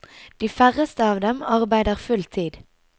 De færreste av dem arbeider full tid.